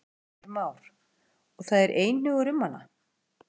Heimir Már: Og það er einhugur um hana?